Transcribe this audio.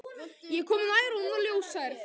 Ég kom nær og hún var ljóshærð.